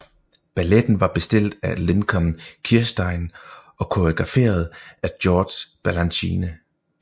Balletten var bestilt af Lincoln Kirstein og koreograferet af George Balanchine